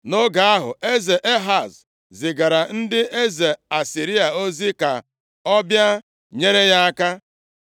Nʼoge ahụ, eze Ehaz zigara ndị eze Asịrịa ozi ka ọ bịa nyere ya aka.